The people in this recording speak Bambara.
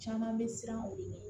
Caman bɛ siran o de ɲɛ